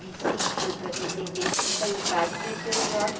de cinco foi para setenta e cinco aí o Padre cresceu os olhos.